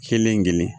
Kelen-kelen